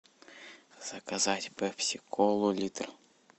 заказать пепси колу литр